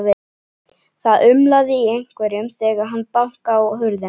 Það umlaði í einhverjum þegar hann bankaði á hurðina.